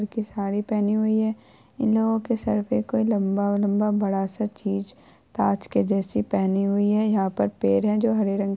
एक साड़ी पहनी हुई है इन लोगो के सर पे कोई लम्बा-लम्बा बड़ा सा चीज ताज के जैसे पहनी हुई है यहाँ पर पेड़ है जो हरे रंग के --